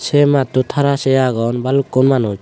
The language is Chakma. se mattod hara sey agong balukkun manuj.